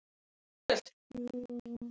Það er því fyrir hendi.